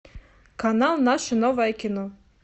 канал наше новое кино